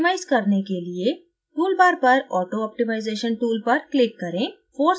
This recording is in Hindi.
optimize करने के लिए tool bar पर auto optimization tool पर click करें